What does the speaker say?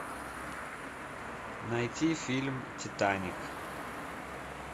найти фильм титаник